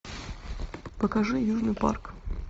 покажи южный парк